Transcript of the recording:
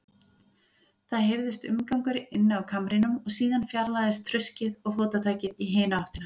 Það heyrðist umgangur inni á kamrinum, og síðan fjarlægðist þruskið og fótatakið í hina áttina.